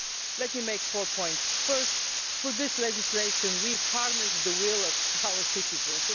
Let me make four points firstly, for this legislation we are harnessing the will of our citizens.